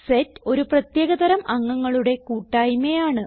set ഒരു പ്രത്യേക തരം അംഗങ്ങളുടെ കൂട്ടായിമയാണ്